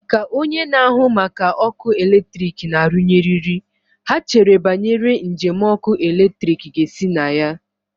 Ka onye na-ahụ maka ọkụ eletrik na-arụnye eriri, ha chere banyere njem ọkụ eletrik ga-esi na ya.